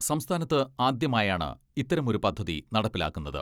സംസ്ഥാനത്ത് ആദ്യമായാണ് ഇത്തരമൊരു പദ്ധതി നടപ്പിലാക്കുന്നത്.